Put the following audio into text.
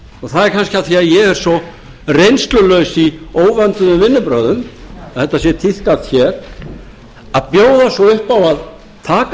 það er kannski af því að ég er svo reynslulaus í óvönduðum vinnubrögðum að þetta sem tíðkast hér að bjóða svo upp á að taka